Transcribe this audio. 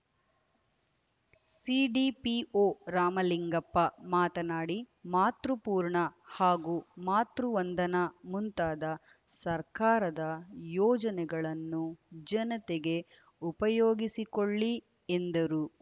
CDPO Ramalingappa ಮಾತನಾಡಿ ಮಾತೃಪೂರ್ಣ ಹಾಗೂ ಮಾತೃವಂದನಾ ಮುಂತಾದ ಸರ್ಕಾರದ ಯೋಜನೆಗಳನ್ನು ಜನತೆಗೆ ಉಪಯೋಗಿಸಿಕೊಳ್ಳಿ ಎಂದರು